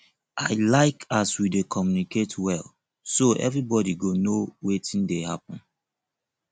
i like as we dey communicate well so everybodi go know wetin dey happen